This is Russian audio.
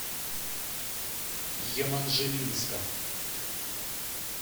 еманжелинска